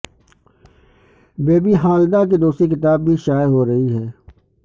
بے بی ہالدار کی دوسری کتاب بھی شائع ہورہی ہے